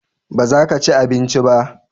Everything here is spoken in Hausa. baza ka ci abinci ba?